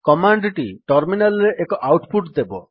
command ଟି terminal ରେ ଏକ ଆଉଟ୍ ପୁଟ୍ ଦେବ